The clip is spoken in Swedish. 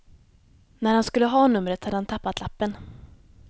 När han skulle ha numret hade han tappat lappen.